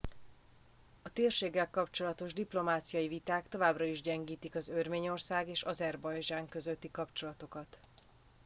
a térséggel kapcsolatos diplomáciai viták továbbra is gyengítik az örményország és azerbajdzsán közötti kapcsolatokat